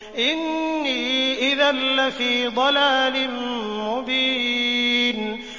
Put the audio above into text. إِنِّي إِذًا لَّفِي ضَلَالٍ مُّبِينٍ